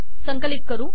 संकलित करू